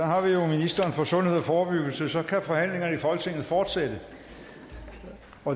har vi jo ministeren for sundhed og forebyggelse så kan forhandlingerne i folketinget fortsætte